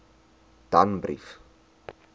danbrief